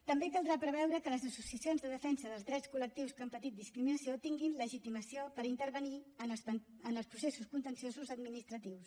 també caldrà preveure que les associacions de defensa dels drets col·lectius que han patit discriminació tinguin legitimació per intervenir en els processos contenciosos administratius